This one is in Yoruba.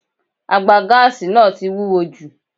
Àgbà gáàsì náà tí wúwo jù.